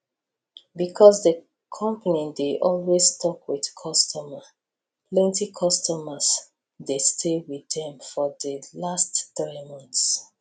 because di company dey always talk wit customer plenty customers dey stay with dem for di last three months